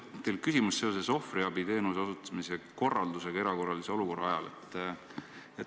Mul on teile küsimus seoses ohvriabiteenuse osutamise korraldusega erakorralise olukorra ajal.